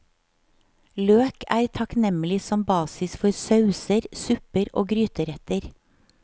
Løk er takknemlig som basis for sauser, supper og gryteretter.